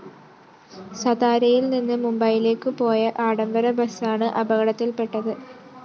സതാരയിൽ നിന്ന് മുംബൈയിലേക്ക് പോയ ആഡംബര ബസാണ് അപകടത്തിൽപ്പെട്ടത്